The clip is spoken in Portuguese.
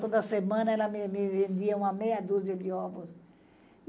Toda semana ela me vendia uma meia dúzia de ovos.